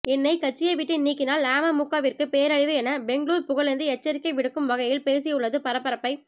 என்னை கட்சியை விட்டு நீக்கினால் அமமுகவிற்கு பேரழிவு என பெங்களூர் புகழேந்தி எச்சரிக்கை விடுக்கும் வகையில் பேசியுள்ளது பரபரப்பை